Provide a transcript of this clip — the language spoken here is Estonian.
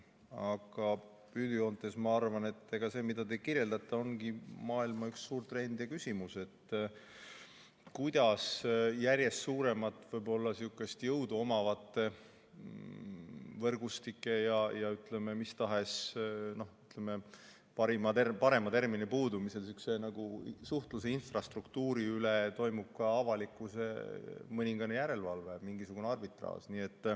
Aga üldjoontes ma arvan, et ega see, mis te kirjeldate, ongi maailmas üks suur trend ja küsimus on, kuidas järjest suuremat jõudu omavate võrgustike, või ütleme parema termini puudumisel, suhtluse infrastruktuuri üle toimub ka avalikkuses mõningane järelevalve, mingisugune arbitraaž.